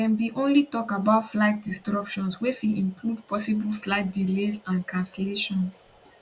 dem bin only tok about flight disruptions wey fit include possible flight delays and cancellations